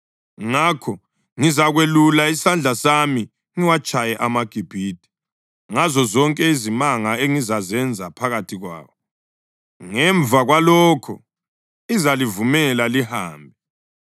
Ngakho ngizakwelula isandla sami ngiwatshaye amaGibhithe ngazozonke izimanga engizazenza phakathi kwawo. Ngemva kwalokho, izalivumela lihambe.